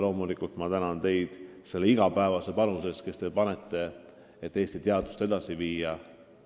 Loomulikult ma tänan teid ka selle igapäevase panuse eest, et Eesti teadust edasi viia.